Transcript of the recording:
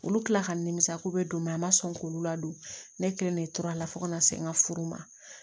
Olu kila ka nimisa ko bɛ don a ma sɔn k'olu ladon ne kelen de tora a la fo kana se n ka furu ma